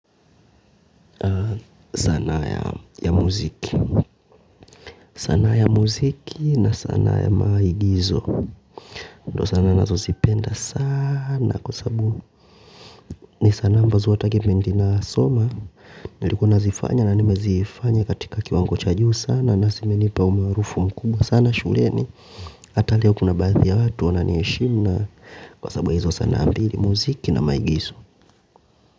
Sanaa ya ya muziki sanaa ya muziki na sanaa ya maigizo ndio sanaa ninazo zipenda sana kwa sababu ni sanaa ambazo hata kipindi na soma nilikuwa nazifanya na nimezifanya katika kiwango cha juu sana na zimenipa umaarufu mkubwa sana shuleni hata leo kuna baadhi ya watu wananiheshimu na kwa sababu ya hizo sanaa mbili muziki na maigizo.